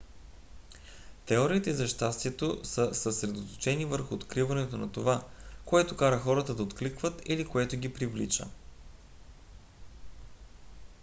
теориите за щастието са съсредоточени върху откриването на това което кара хората да откликват или което ги привлича